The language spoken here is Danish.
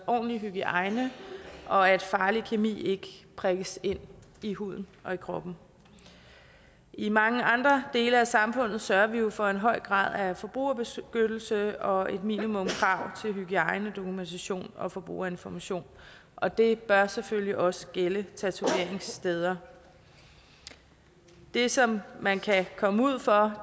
ordentlig hygiejne og at farlig kemi ikke prikkes ind i huden og i kroppen i mange andre dele af samfundet sørger vi jo for en høj grad af forbrugerbeskyttelse og minimumskrav til hygiejne dokumentation og forbrugerinformation og det bør selvfølgelig også gælde tatoveringssteder det som man kan komme ud for